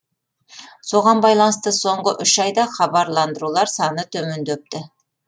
соған байланысты соңғы үш айда хабарландырулар саны төмендепті